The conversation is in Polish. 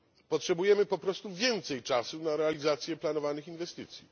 Potrzebujemy po prostu więcej czasu na realizację planowanych inwestycji.